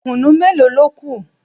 Kùnú mélòó ló kù?